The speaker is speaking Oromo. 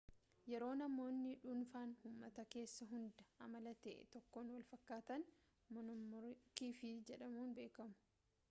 yeroo namoonni dhuunfaan uumata kessaa hunduu amala ta'e tokkoon walfakkaatan moonoomoorfiikii jedhamuun beekamu